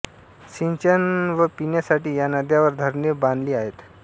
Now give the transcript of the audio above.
सिंचन व पिण्यासाठी या नद्यांवर धरणे बान्धली आहेत